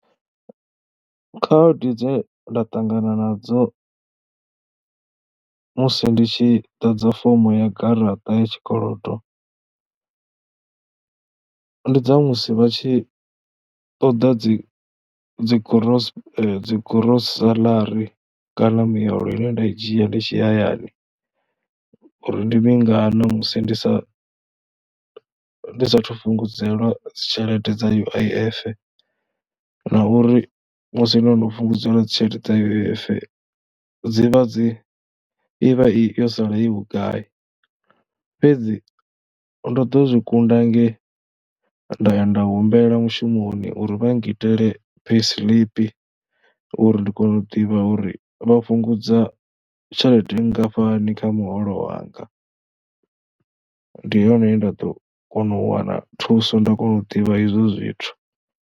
Khaedu dze nda ṱangana nadzo musi ndi tshi ḓadza fomo ya garaṱa ya tshikolodo ndi dza musi vha tshi ṱoḓa dzi dzi gros dzi gross salary kana mbuyelo ine nda i dzhia ndi tshi hayani uri ndi mingana musi ndi sa ndi saathu fhungudzelwa dzi tshelede dza U_I_F na uri musi ndo no fhungudzelwa dzi tshelede dza U_I_F dzi vha dzi, i vha yo sala i vhugai. Fhedzi ndo ḓo zwi kunda nge nda ya nda humbela mushumoni uri vha ngi tele pay slip uri ndi kone u ḓivha uri vha fhungudza tshelede nngafhani kha muholo wanga, ndi hone nda ḓo kona u wana thuso nda kona u ḓivha izwo zwithu.